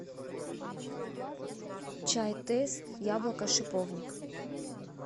чай тесс яблоко шиповник